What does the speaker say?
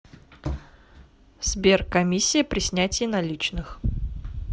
сбер комиссия при снятии наличных